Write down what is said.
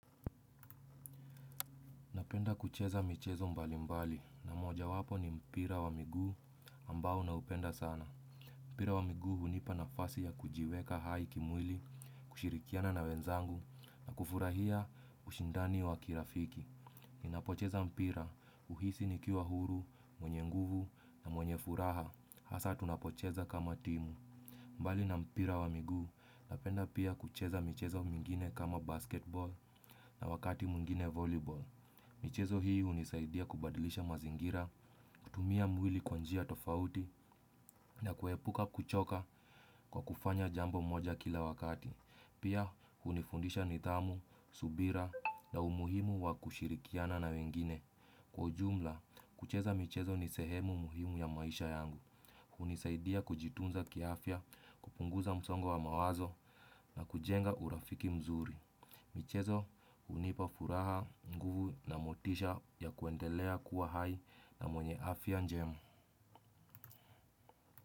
Napenda kucheza michezo mbali mbali na moja wapo ni mpira wa miguu ambao naupenda sana. Mpira wa miguu hunipa nafasi ya kujiweka hai kimwili, kushirikiana na wenzangu na kufurahia ushindani wa kirafiki. Ninapocheza mpira uhisi nikiwa huru, mwenye nguvu na mwenye furaha. Hasa tunapocheza kama timu. Mbali na mpira wa miguu napenda pia kucheza michezo mingine kama basketball na wakati mwingine volleyball. Michezo hii unisaidia kubadilisha mazingira, kutumia mwili kwa njia tofauti na kuhepuka kuchoka kwa kufanya jambo moja kila wakati. Pia unifundisha nitamu, subira na umuhimu wa kushirikiana na wengine. Kwa ujumla, kucheza michezo ni sehemu muhimu ya maisha yangu, unisaidia kujitunza kiaafya, kupunguza msongo wa mawazo na kujenga urafiki mzuri. Michezo, unipa furaha nguvu na motisha ya kuendelea kuwa hai na mwenye afya njema.